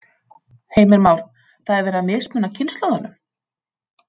Heimir Már: Það er verið að mismuna kynslóðunum?